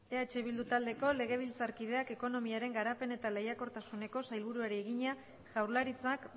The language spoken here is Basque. eh bildu taldeko legebiltzarkideak ekonomiaren garapen eta lehiakortasuneko sailburuari egina jaurlaritzak